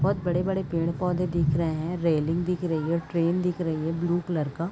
बहुत बड़े-बड़े पेड़-पौधे दिख रहे है रैलिंग दिख रही है ट्रैन दिख रही है ब्लू कलर का--